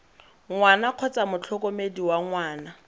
ngwana kgotsa motlhokomedi wa ngwana